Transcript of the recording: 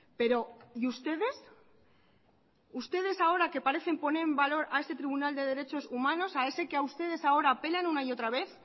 pero y ustedes ustedes ahora que parecen ponen en valor a ese tribunal de derechos humanos a ese que a ustedes ahora apelan una y otra vez